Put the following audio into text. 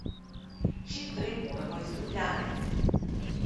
Čim prej moramo iz Ljubljane!